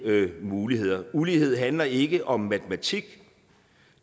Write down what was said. muligheder ulighed handler ikke om matematik